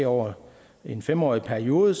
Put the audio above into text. over en fem årig periode